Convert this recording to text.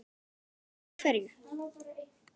Og af hverju.